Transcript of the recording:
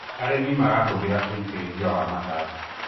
arĩmi marahuthira ũitiriria wa matata